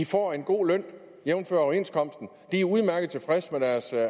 får en god løn jævnfør overenskomsten de er udmærket tilfredse med deres